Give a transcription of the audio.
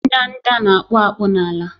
Ndanda na-akpụ akpụ n'ala